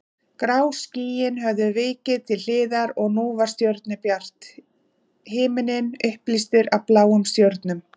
Grá skýin höfðu vikið til hliðar og nú var stjörnubjart, himinninn upplýstur af bláum stjörnum.